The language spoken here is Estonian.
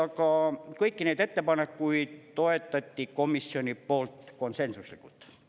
Aga kõiki neid ettepanekuid toetati komisjoni poolt konsensuslikult.